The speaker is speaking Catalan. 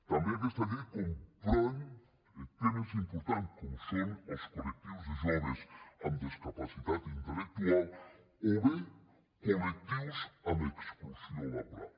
també aquesta llei comprèn temes importants com són els col·lectius de joves amb discapacitat intellectual o bé col·lectius amb exclusió laboral